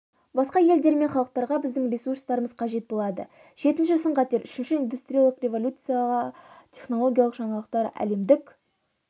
басқа елдер мен халықтарға біздің ресурстарымыз қажет болады жетінші сын-қатер үшінші индустриялық революция технологиялық жаңалықтар әлемдік